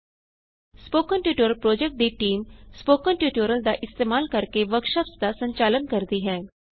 spoken tutorial project ਦੀ team spoken tutorial ਦਾ ਇਸਤੇਮਾਲ ਕਰਕੇ ਵਰਕਸ਼ਾਪਸ ਦਾ ਸੰਚਾਲਨ ਕਰਦੀ ਹੈ